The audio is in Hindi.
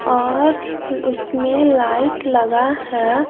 और उसमें लाइट लगा है।